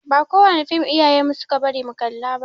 Ba kowane fim iyayen mu suke bari mu kalla ba.